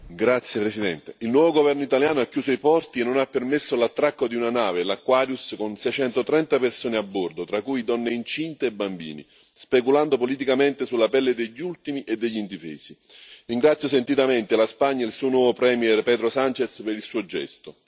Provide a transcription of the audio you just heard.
Signora Presidente, onorevoli colleghi, il nuovo governo italiano ha chiuso i porti e non ha permesso l'attracco di una nave, l'Aquarius, con 630 persone a bordo, tra cui donne incinte e bambini, speculando politicamente sulla pelle degli ultimi e degli indifesi. Ringrazio sentitamente la Spagna e il suo nuovo Premier Pedro Sánchez per il suo gesto.